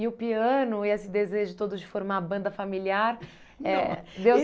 E o piano, e esse desejo todo de formar banda familiar, não, eh deu